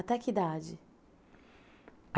Até que idade?